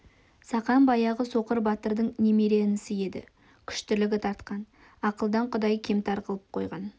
сақан баяғы соқыр батырдың немере інісі еді күштілігі тартқан ақылдан құдай кемтар қылып қойған